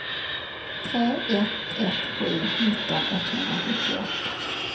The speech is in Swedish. tre ett ett sju nitton etthundrasjuttioåtta